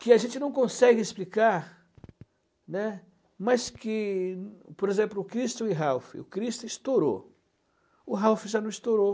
que a gente não consegue explicar, né, mas que, por exemplo, o Cristo e o Ralph, o Cristo estourou, o Ralph já não estourou.